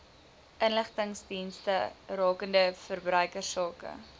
inligtingsdienste rakende verbruikersake